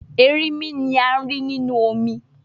Erinmi ni a ri ninu omi